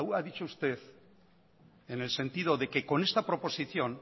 haya dicho usted en el sentido de que esta proposición